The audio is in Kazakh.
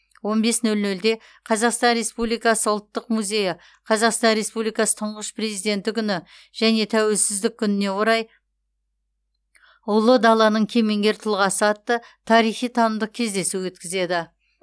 он бес нөл нөлде қазақстан республикасы ұлттық музейі қазақстан республикасы тұңғыш президенті күні және тәуелсіздік күніне орай ұлы даланың кемеңгер тұлғасы атты тарихи танымдық кездесу өткізеді